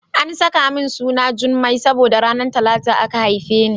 An saka min suna Jummai saboda ranar Talata aka haife ni.